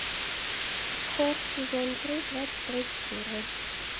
хор сезон три двадцать третья серия